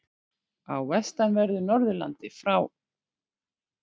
Á vestanverðu Norðurlandi frá